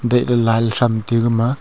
gaile lal tham teyu gama.